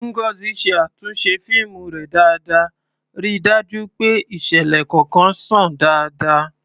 Ngozi ṣe àtúnṣe fíìmù rẹ̀ dáadáa, ríi dájú pé ìṣẹ̀lẹ̀ kọ̀ọ̀kan ṣàn dáadáa.